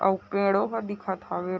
आउ पेड़ो का दिखत हवे।